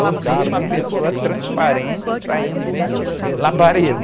E eu vi uma pessoa transparente saindo labareda.